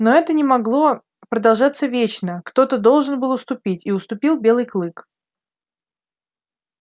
но это не могло продолжаться вечно кто то должен был уступить и уступил белый клык